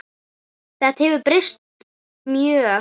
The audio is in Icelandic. Þetta hefur breyst mjög.